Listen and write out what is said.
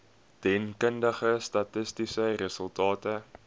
deskundige statistiese resultate